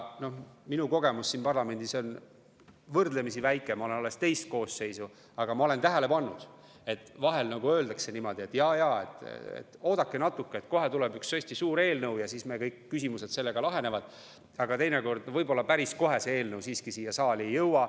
Noh, minu kogemus siin parlamendis on võrdlemisi väike, ma olen siin alles teist koosseisu, aga ma olen tähele pannud, et vahel öeldakse niimoodi, et oodake natuke, kohe tuleb üks hästi suur eelnõu ja siis kõik küsimused sellega lahenevad, aga teinekord päris kohe see eelnõu siiski siia saali ei jõua.